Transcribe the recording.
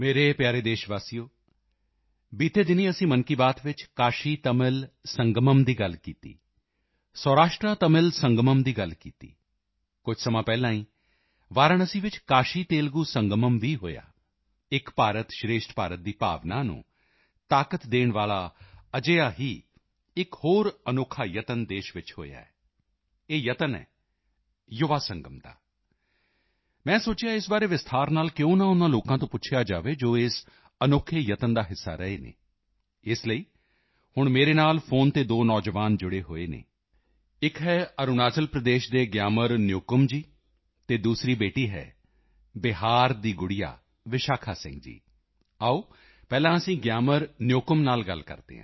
ਮੇਰੇ ਪਿਆਰੇ ਦੇਸ਼ਵਾਸੀਓ ਬੀਤੇ ਦਿਨੀਂ ਅਸੀਂ ਮਨ ਕੀ ਬਾਤ ਵਿੱਚ ਕਾਸ਼ੀਤਮਿਲ ਸੰਗਮ ਦੀ ਗੱਲ ਕੀਤੀ ਸੌਰਾਸ਼ਟਰਤਮਿਲ ਸੰਗਮ ਦੀ ਗੱਲ ਕੀਤੀ ਕੁਝ ਸਮਾਂ ਪਹਿਲਾਂ ਹੀ ਵਾਰਾਣਸੀ ਵਿੱਚ ਕਾਸ਼ੀਤੇਲੁਗੂ ਸੰਗਮ ਵੀ ਹੋਇਆ ਏਕ ਭਾਰਤ ਸ਼੍ਰੇਸ਼ਠ ਭਾਰਤ ਦੀ ਭਾਵਨਾ ਨੂੰ ਤਾਕਤ ਦੇਣ ਵਾਲਾ ਅਜਿਹਾ ਹੀ ਇੱਕ ਹੋਰ ਅਨੋਖਾ ਯਤਨ ਦੇਸ਼ ਵਿੱਚ ਹੋਇਆ ਹੈ ਇਹ ਯਤਨ ਹੈ ਯੁਵਾ ਸੰਗਮ ਦਾ ਮੈਂ ਸੋਚਿਆ ਇਸ ਬਾਰੇ ਵਿਸਤਾਰ ਨਾਲ ਕਿਉਂ ਨਾ ਉਨ੍ਹਾਂ ਲੋਕਾਂ ਤੋਂ ਪੁੱਛਿਆ ਜਾਵੇ ਜੋ ਇਸ ਅਨੋਖੇ ਯਤਨ ਦਾ ਹਿੱਸਾ ਰਹੇ ਹਨ ਇਸ ਲਈ ਹੁਣ ਮੇਰੇ ਨਾਲ ਫੋਨ ਤੇ ਦੋ ਨੌਜਵਾਨ ਜੁੜੇ ਹੋਏ ਹਨ ਇੱਕ ਹੈ ਅਰੁਣਾਚਲ ਪ੍ਰਦੇਸ਼ ਦੇ ਗਿਆਮਰ ਨਯੋਕੁਮ ਜੀ ਅਤੇ ਦੂਸਰੀ ਬੇਟੀ ਹੈ ਬਿਹਾਰ ਦੀ ਵਿਸ਼ਾਖਾ ਸਿੰਘ ਜੀ ਆਓ ਪਹਿਲਾਂ ਅਸੀਂ ਗਿਆਮਰ ਨਯੋਕੁਮ ਨਾਲ ਗੱਲ ਕਰਦੇ ਹਾਂ